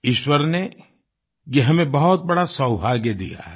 ईश्वर ने ये हमें बहुत बड़ा सौभाग्य दिया है